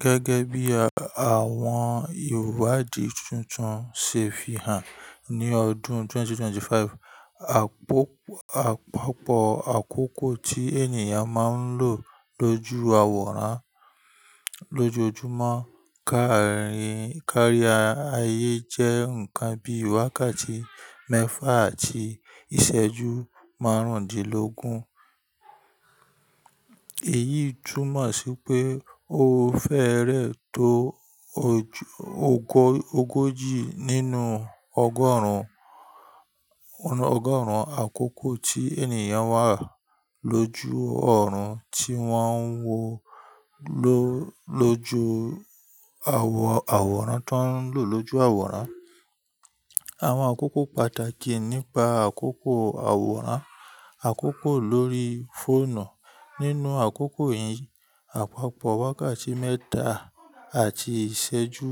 Gẹ́gẹ́ bí àwọn ìwádìí tuntun ṣe fi hàn ní ọdún 2025, àpapọ̀ àkókò tí ènìyàn máa ń lò lójú àwòrán lójoojúmọ́ kárí ayé jẹ́ nǹkan bí wákàtí mẹ́fà àti ìṣẹ́jú márùndínlógún. Èyí túmọ̀ sí pé ó fẹ́rẹ tó ogójì nínú ọgọ́rùn-ún àkókò tí ènìyàn wà lójú ọ̀run tí wọ́n ń wò lójoojúmọ́ àwọ̀rán tó ń lò lójú àwòrán. Àwọn àkókò pàtàkì nípa àkókò àwòrán àkókò lórí fóònù nínú àkókò yìí, àpapọ̀ wákàtí mẹ́ta àti ìṣẹ́jú